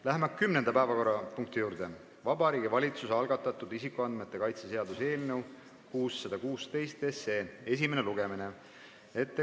Läheme kümnenda päevakorrapunkti, Vabariigi Valitsuse algatatud isikuandmete kaitse seaduse eelnõu 616 esimese lugemise juurde.